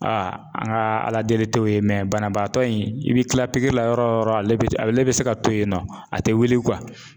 Aa an ka ala deli tɛ o ye banabaatɔ in i bɛ kila pikiri la yɔrɔ o yɔrɔ ale bɛ ale bɛ se ka to yen nɔ a tɛ wuli